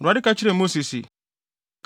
Awurade ka kyerɛɛ Mose se,